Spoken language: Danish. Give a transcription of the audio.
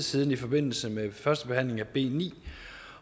siden i forbindelse med første behandling af b ni